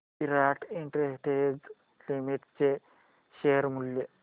विराट Industries Limited चे share मूल्य